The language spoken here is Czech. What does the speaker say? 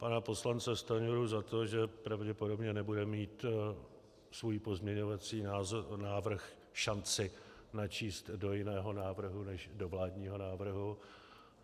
Pana poslance Stanjuru za to, že pravděpodobně nebude mít svůj pozměňovací návrh šanci načíst do jiného návrhu než do vládního návrhu.